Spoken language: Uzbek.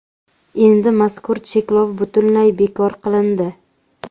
Endi mazkur cheklov butunlay bekor qilindi.